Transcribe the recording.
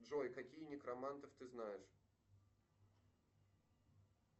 джой каких некромантов ты знаешь